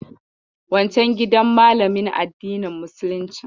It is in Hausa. Wancen gidan malamin addinin musuluncin.